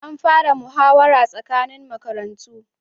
An fara muhawara tsakanin makarantu